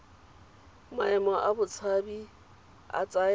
maemo a botshabi a tsaya